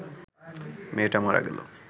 মেয়েটা মারা গেল